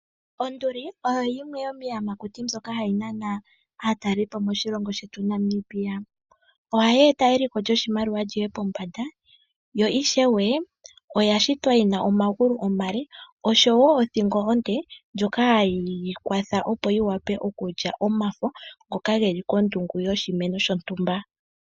Onduli oyo yimwe yomiiyamakuti mbyoka ha yi nana aatalelipo moshilongo shetu Namibia. Ohayi e ta eliko lyoshimaliwa li ye pombanda , yo ishewe oya shitwa yi na omagulu omale osho wo othingo onde ndjoka ha yi yi kwatha opo yi wape okulya omafo ngoka ge li kondungu yoshimeno shontumba.